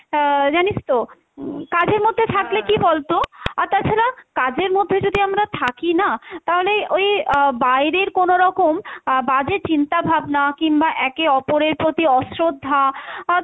আহ জানিস তো উম কাজের মধ্যে থাকলে কী বলতো আর তাছাড়া কাজের মধ্যে যদি আমরা থাকি না তাহলে ওই আহ বাইরের কোনো রকম আহ বাজে চিন্তা ভাবনা কিংবা একে অপরের প্রতি অশ্রদ্ধা আহ